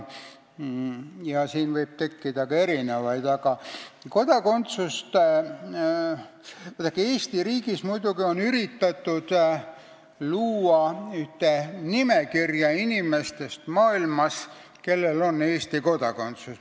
Eesti riigis on muidugi üritatud luua ühte nimekirja inimestest maailmas, kellel on Eesti kodakondsus.